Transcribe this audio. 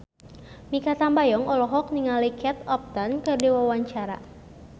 Mikha Tambayong olohok ningali Kate Upton keur diwawancara